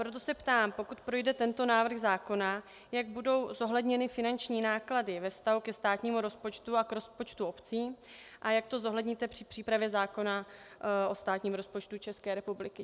Proto se ptám, pokud projde tento návrh zákona, jak budou zohledněny finanční náklady ve vztahu ke státnímu rozpočtu a k rozpočtu obcí a jak to zohledníte při přípravě zákona o státním rozpočtu České republiky.